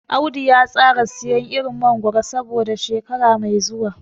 Audu ya tsara siyan irin mangoro saboda shekara mai zuwa.